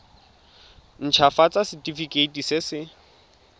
nt hafatsa setefikeiti se se